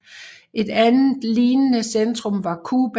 Et andet lignende centrum var Cuba